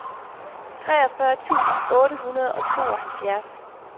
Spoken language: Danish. treogfyrre tusind otte hundrede og tooghalvfjerds